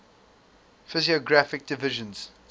physiographic divisions